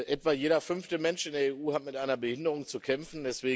Etwa jeder fünfte Mensch in der EU hat mit einer Behinderung zu kämpfen.